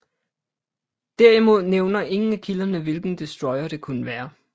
Derimod nævner ingen af kilderne hvilken destroyer det kunne være